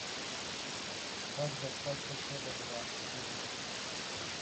как достать соседа два фильм